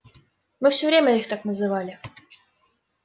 мы все время их так называли